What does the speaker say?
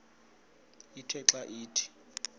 ithe xa ithi